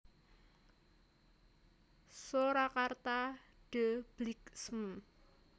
Soerakarta De Bliksem